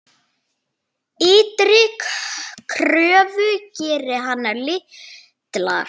Ytri kröfur gerði hann litlar.